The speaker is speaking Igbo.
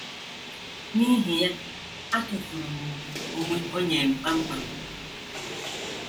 N’ihi ya, atụfuru m ùgwù onwe onye m kpam kpam.